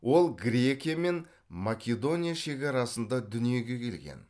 ол грекия мен македония шекарасында дүниеге келген